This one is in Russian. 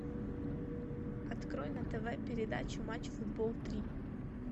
открой на тв передачу матч футбол три